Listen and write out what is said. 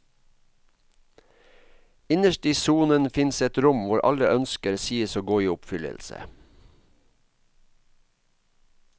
Innerst i sonen fins et rom hvor alle ønsker sies å gå i oppfyllelse.